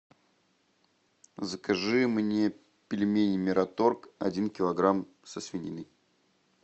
закажи мне пельмени мираторг один килограмм со свининой